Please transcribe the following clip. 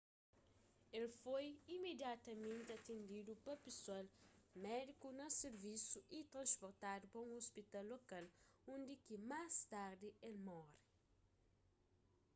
el foi imediatamenti atendidu pa pesoal médiku na sirvisu y trasportadu pa un ôspital lokal undi ki más tardi el móre